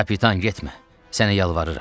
Kapitan getmə, sənə yalvarıram.